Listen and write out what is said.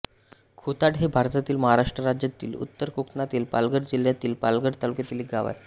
खुताड हे भारतातील महाराष्ट्र राज्यातील उत्तर कोकणातील पालघर जिल्ह्यातील पालघर तालुक्यातील एक गाव आहे